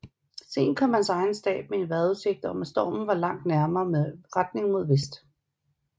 Sent kom hans egen stab med en vejrudsigt om at stormen var langt nærmere med retning mod vest